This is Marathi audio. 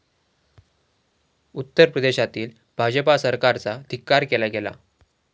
उत्तर प्रदेशातील भाजपा सरकारचा धिक्कार केला गेला.